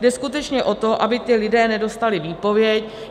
Jde skutečně o to, aby ti lidé nedostali výpověď.